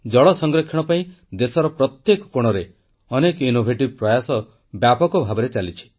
ଜଳ ସଂରକ୍ଷଣ ପାଇଁ ଦେଶର ପ୍ରତ୍ୟେକ କୋଣରେ ଅନେକ ଅଭିନବ ପ୍ରୟାସ ବ୍ୟାପକ ଭାବରେ ଚାଲିଛି